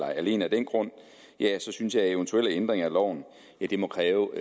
og alene af den grund synes jeg at eventuelle ændringer af loven må kræve